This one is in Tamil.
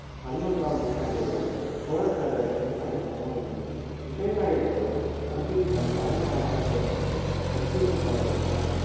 பதினொன்றாம் நூற்றாண்டு வரை சோழப் பேரரசின் தலைநகரமாக விளங்கியது விஜயாலய சோழன் தஞ்சையை தன் தலைநகரமாக தேர்ந்தெடுத்து வெற்றிகள் பல பெற்றான்